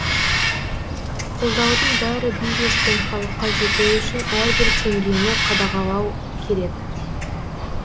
қолдаудың бәрі бизнес пен халыққа жетуі үшін әрбір теңгені қадалағау керек